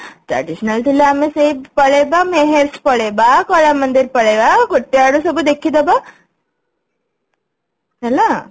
traditional ଥିଲେ ଆମେ ସେଇ ପଳେଇବା meher's ପଳେଇବା କଳମନ୍ଦିର ପଳେଇବା ଗୋଟେ ଆଡୁ ସବୁ ଦେଖିଦବା ହେଲା